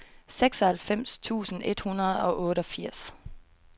seksoghalvfems tusind et hundrede og otteogfirs